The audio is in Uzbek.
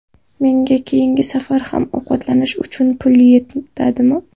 Menga keyingi safar ham ovqatlanish uchun pul yetadimi?